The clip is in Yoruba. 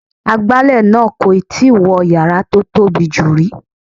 Agbálẹ̀ náà kò tíì wọ yàrá tó tóbi jù rí.